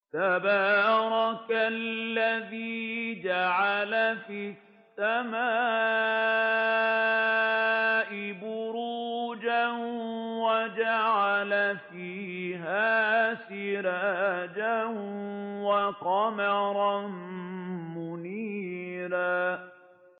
تَبَارَكَ الَّذِي جَعَلَ فِي السَّمَاءِ بُرُوجًا وَجَعَلَ فِيهَا سِرَاجًا وَقَمَرًا مُّنِيرًا